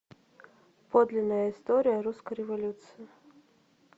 подлинная история русской революции